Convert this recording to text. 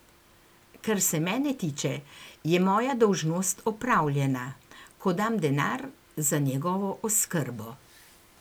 Kar se mene tiče, je moja dolžnost opravljena, ko dam denar za njegovo oskrbo.